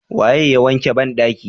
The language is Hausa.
Waye ya wanke bandaki?